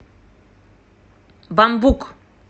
бамбук